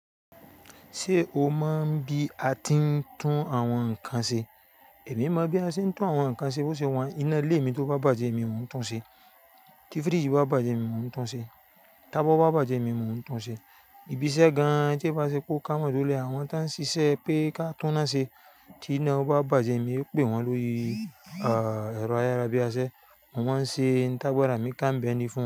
Ṣé o mọ̀ bí a ti ń tún àwọn nǹkan ṣe? Èmi mọ bí a ṣe ń tún àwọn nǹkan ṣe bó ṣe wọ́n. Iná ilé mi tó bá bàjẹ́, èmi mo n tún ṣe. Ti firiji bá bàjẹ́, èmi mo n tún ṣe. Tabọọ bá bàjẹ́, èmi mo n tún ṣe. Ibi iṣẹ́ gan-an tí e ba ṣe pó ká mójú lé àwọn tí wọ́n ń ṣiṣẹ́ pé kí a túná ṣe tí iná wọn bá bàjẹ́, èmi ó pè wọ́n lórí ẹ̀rọ ayárabíàṣẹ́, mo maa ń ṣe ntá gbarà mí ká be ni fún un.